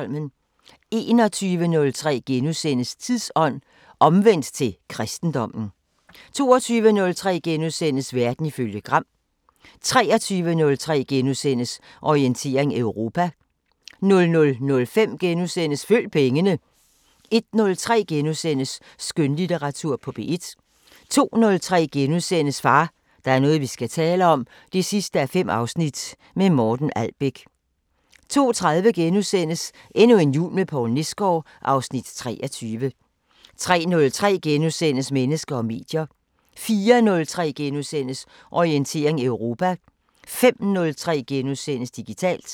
21:03: Tidsånd: Omvendt til kristendommen * 22:03: Verden ifølge Gram * 23:03: Orientering Europa * 00:05: Følg pengene * 01:03: Skønlitteratur på P1 * 02:03: Far, der er noget vi skal tale om 5:5 – med Morten Albæk * 02:30: Endnu en jul med Poul Nesgaard (Afs. 23)* 03:03: Mennesker og medier * 04:03: Orientering Europa * 05:03: Digitalt *